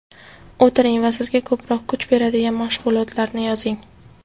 O‘tiring va sizga ko‘proq kuch beradigan mashg‘ulotlarni yozing.